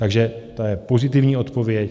Takže to je pozitivní odpověď.